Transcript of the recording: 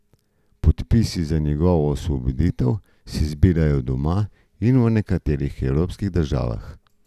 Podpisi za njegovo osvoboditev se zbirajo doma in v nekaterih evropskih državah.